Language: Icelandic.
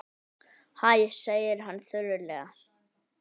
Hæ, segir hann þurrlega.